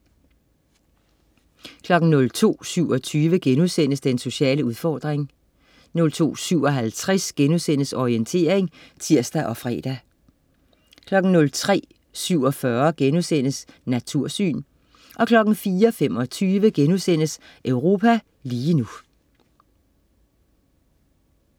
02.27 Den sociale udfordring* 02.57 Orientering* (tirs og fre) 03.47 Natursyn* 04.25 Europa lige nu*